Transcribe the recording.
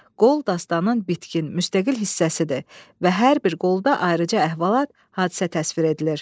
Qol dastanının bitkin, müstəqil hissəsidir və hər bir qolda ayrıca əhvalat, hadisə təsvir edilir.